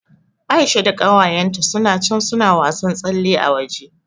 Aisha da ƙawayenta suna can suna wasan tsalle a waje.